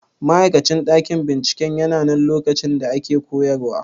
Ma'aikacin ɗakin binciken yananan lokacin da ake koyarwa?